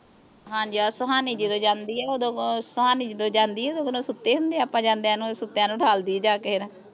ਹਾਂਜੀ ਆ ਸੁਹਾਨੀ ਜਦੋਂ ਜਾਂਦੀ ਆ ਉਦੋਂ ਸੁਹਾਨੀ ਜਦੋਂ ਜਾਂਦੀ ਆ ਉਦੋਂ ਓਹ ਸੁੱਤੇ ਹੁੰਦੇ ਆਪਾਂ ਜਾਂਦਿਆਂ ਨੂੰ ਸੁੱਤਿਆਂ ਨੂੰ ਉਠਾਲ ਦੀ ਆ ਜਾ ਕੇ ਫੇਰ